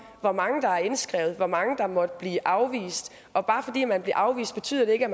hvor mange der er indskrevet hvor mange der måtte blive afvist og bare fordi man bliver afvist betyder det ikke